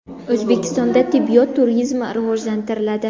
O‘zbekistonda tibbiyot turizmi rivojlantiriladi.